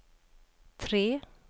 tre